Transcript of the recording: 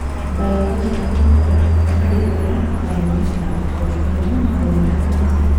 biological therapy kondoi barak kamunget ab bortangung kowonda cancer